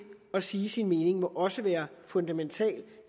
at sige sin mening må også være fundamental